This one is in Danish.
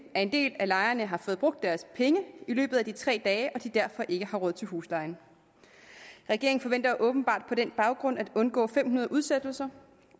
at en del af lejerne har fået brugt deres penge i løbet af de tre dage og at de derfor ikke har råd til huslejen regeringen forventer åbenbart på den baggrund at undgå fem hundrede udsættelser